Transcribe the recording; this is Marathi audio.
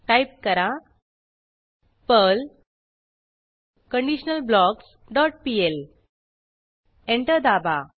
टाईप करा Perl conditional blocks dot PL enter दाबा